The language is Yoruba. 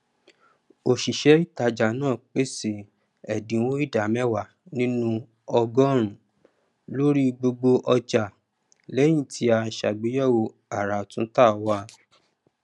òṣìṣẹ ìtajà náà pèsè ẹdínwó ìdá mẹwàá nínú ọgọrùnún lórí gbogbo ọjà lẹyìn tí a sàgbéyẹwò àràtúntà wa